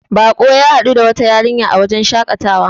bako ya gamu da wata yarinya a wajen shakatawa